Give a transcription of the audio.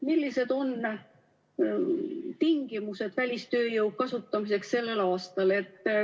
Millised on tingimused välistööjõu kasutamiseks sellel aastal?